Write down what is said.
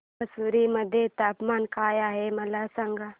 म्हैसूर मध्ये तापमान काय आहे मला सांगा